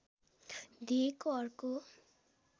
दिएको अर्को